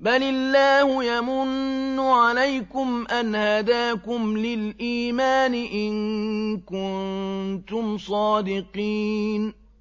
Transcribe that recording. بَلِ اللَّهُ يَمُنُّ عَلَيْكُمْ أَنْ هَدَاكُمْ لِلْإِيمَانِ إِن كُنتُمْ صَادِقِينَ